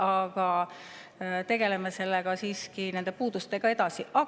Aga tegeleme nende puudustega siiski edasi.